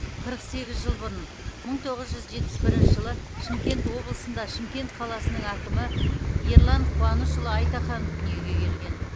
қырық сегіз жыл бұрын мың тоғыз жүз жетпіс бірінші жылы шымкент облысында шымкент қаласының әкімі ерлан қуанышұлы айтаханов дүниеге келген